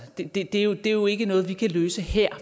men det er jo ikke noget vi kan løse her